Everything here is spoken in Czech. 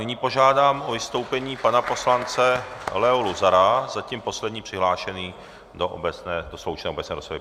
Nyní požádám o vystoupení pana poslance Leo Luzara, zatím poslední přihlášený do sloučené obecné rozpravy.